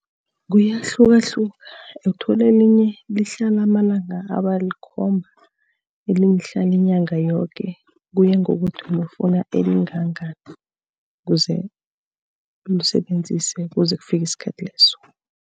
Kuyahlukahluka, ukuthola elinye lihlala amalanga aba alikhomba, elinye hlala inyanga yoke. Kuya ngokuthi ufuna elingangani, kuze ulisebenzise kuze kufike isikhathi leso.